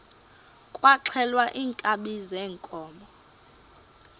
kwaxhelwa iinkabi zeenkomo